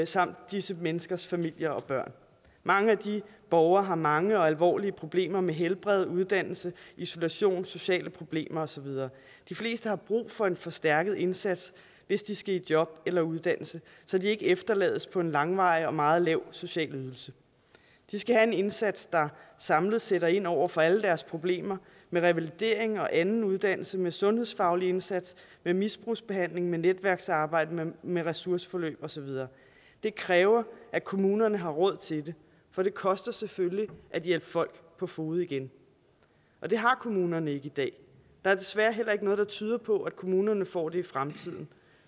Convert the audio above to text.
samt disse menneskers familier og børn mange af de borgere har mange og alvorlige problemer med helbred uddannelse isolation sociale problemer og så videre de fleste har brug for en forstærket indsats hvis de skal i job eller uddannelse så de ikke efterlades på en langvarig og meget lav social ydelse de skal have en indsats der samlet sætter ind over for alle deres problemer med revalidering og anden uddannelse med en sundhedsfaglig indsats med misbrugsbehandling med netværkssamarbejde med med ressourceforløb og så videre det kræver at kommunerne har råd til det for det koster selvfølgelig at hjælpe folk på fode igen og det har kommunerne ikke i dag der er desværre heller ikke noget der tyder på at kommunerne får det i fremtiden